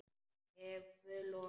Ef Guð lofar.